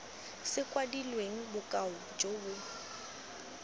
se kwadilweng bokao jo bo